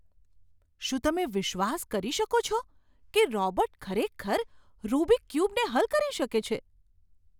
શું તમે વિશ્વાસ કરી શકો છો કે રોબોટ ખરેખર રુબિક ક્યુબને હલ કરી શકે છે?